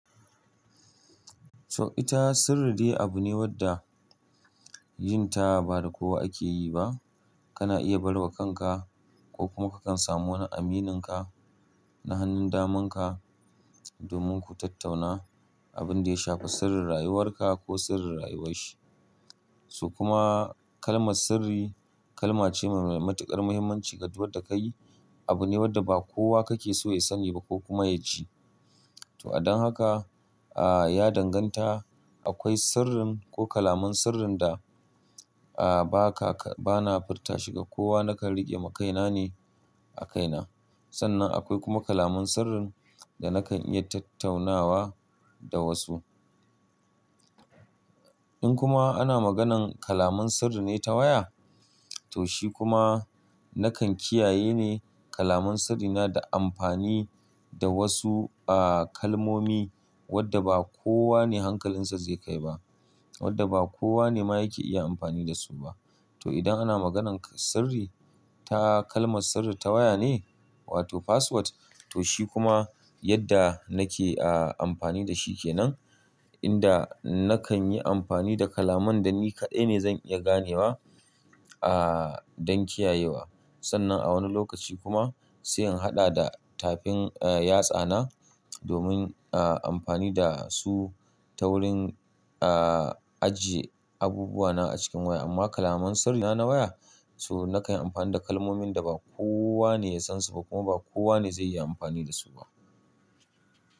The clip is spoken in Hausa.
So ita sirri dai abu ne wadda yin ta ba da kowa ake yi ba. Kana iya bar wa kanka ko kuma kakan samu wani amininka na hanun damanka domin ku tattauna abin da ya shafi sirrin rayuwarka ko sirrin rayuwar shi. So kuma kalmar sirri kalma ce mai matuƙar mahimmanci. Ka ji wadda ka yi abu ne wadda ba kowa kake so ya sani ba ko kuma ya ji. To adon haka, a ya danganta akwai sirrin ko kalaman sirrin da a ba ka, bana furta shi ga kowa nakan riƙe makaina ne a kaina. Sannan akwai kuma kalamun sirrin da nakan iya tattaunawa da wasu. In kuma ana maganan kalaman sirri ne ta waya, to shi kuma nakan kiyaye ne kalamun sirrina da amfani da wasu a kalmomi wadda ba kowa ne hankalinsa zai kai ba, wadda ba kowa ne ma yake iya amfani da su ba. To idan ana maganan sirri ta kalmar sirri ta waya ne, wato password, to shi kuma yadda nake a amfani da shi kenan, inda nakan yi amfani da kalaman da ni kaɗai ne zan iya ganewa a don kiyayewa. Sannan a wani lokaci kuma sai in haɗa da tafin a yatsa na domin a amfani da su ta wurin a ajiye abubuwa na a cikin waya. Amma kalamun sirri na na waya, so nakan yi amfani da kalmomin da ba kowa ne ya san su ba kuma ba kowa ne zai iya amfani da su ba.